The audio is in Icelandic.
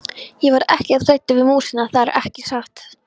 Ég var ekkert hræddur við músina, það er ekki satt.